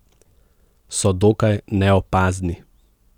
So dokaj neopazni.